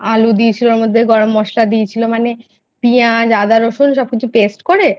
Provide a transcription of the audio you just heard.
আলু দিয়েছিলো গরম মশলা দিয়েছিলো মানে পিয়াজ আদা রসুন সবকিছু Paste করে